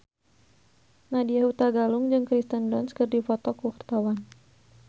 Nadya Hutagalung jeung Kirsten Dunst keur dipoto ku wartawan